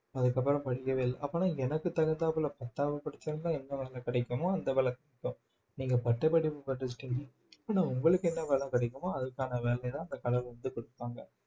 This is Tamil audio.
அதுக்கப்புறம் படிக்கவே இல்லை அப்பனா எனக்கு தகுந்தாப்புல பட்டாவை பிடிச்சிருந்தா என்ன வேலை கிடைக்குமோ அந்த விளக்கு நீங்க பட்டப்படிப்பு படிச்சுட்டீங்க ஆனா உங்களுக்கு என்ன வேலை கிடைக்குமோ அதுக்கான வேலைதான் அந்த கடவுள் வந்து கொடுப்பாங்க